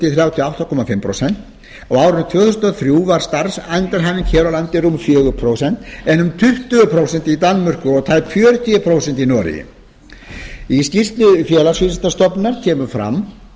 og átta og hálft prósent á árinu tvö þúsund og þrjú var starfsendurhæfing hér á landi rúm fjögur prósent en um tuttugu prósent í danmörku og tæp fjörutíu prósent í noregi í skýrslu félagsvísindastofnunar kemur fram